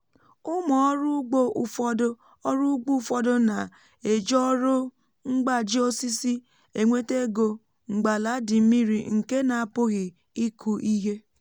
ụmụ ọrụ ugbo ụfọdụ ọrụ ugbo ụfọdụ na-eji ọrụ mgbaji osisi enweta ego mgbe ala dị mmiri nke na a pụghị ịkụ ihe